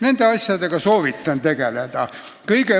Nende asjadega soovitan tegeleda.